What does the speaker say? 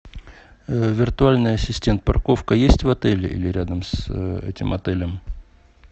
виртуальный ассистент парковка есть в отеле или рядом с этим отелем